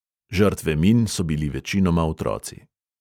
Žrtve min so bili večinoma otroci.